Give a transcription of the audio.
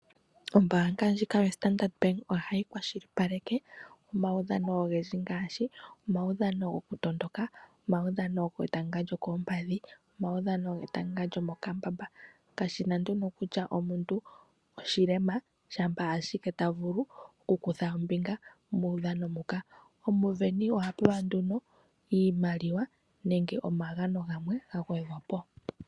Ombaanga ndjika yoStandard Bank ohati kwashilipaleke omaudhano ogendji ngaashi omaudhano gokutondoka, omaudhano getanga lyokoompadhi, omaudhano getanga lyomokambamba. Kashi na nduno kutya omuntu oku na uulema, shampa shike ta vulu okukutha ombinga muudhano muka. Omusindani oha pewa nduno iimaliwa nenge omagano gamwe ga gwedhwa po.